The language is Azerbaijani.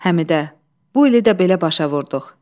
Həmidə, bu ili də belə başa vurduq.